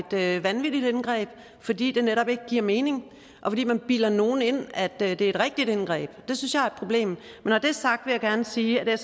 det er et vanvittigt indgreb fordi det netop ikke giver mening og fordi man bilder nogen ind at det er et rigtigt indgreb det synes jeg er et problem men når det er sagt vil jeg gerne sige at